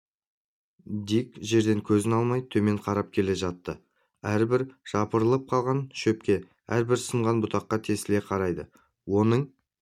дик жерден көзін алмай төмен қарап келе жатты әрбір жапырылып қалған шөпке әрбір сынған бұтаға тесіле қарайды оның